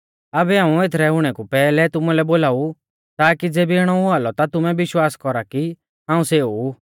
आबै हाऊं एथरै हुणै कु पैहलै तुमुलै बोलाऊ ताकी ज़ेबी इणौ हुआ लौ ता तुमै विश्वास कौरा कि हाऊं सेऊ ऊ